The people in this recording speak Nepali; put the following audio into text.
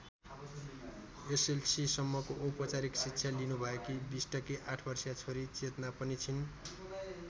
एसएलसीसम्मको औपचारिक शिक्षा लिनुभएकी बिष्टकी ८ वर्षीया छोरी चेतना पनि छिन्।